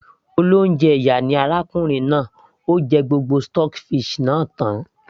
olóúnjẹ ìyà ni arákùnrin náà, ó jẹ gbogbo stockfish náà tan